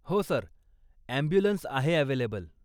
हो sir, ambulance आहे available.